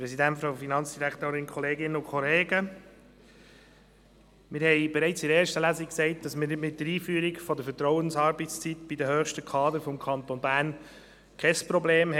Wir haben bereits anlässlich der ersten Lesung gesagt, dass wir mit der Einführung der Vertrauensarbeitszeit bei den höchsten Kadern des Kantons Bern kein Problem haben.